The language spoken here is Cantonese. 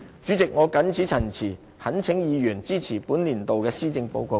主席，我謹此陳辭，懇請議員支持本年度的施政報告。